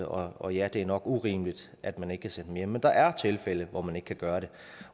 og ja det er nok urimeligt at man ikke kan sende dem hjem men der er tilfælde hvor man ikke kan gøre det